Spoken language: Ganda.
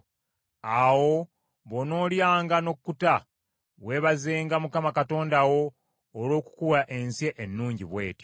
Awo bw’onoolyanga n’okkuta, weebazenga Mukama Katonda wo olw’okukuwa ensi ennungi bw’etyo.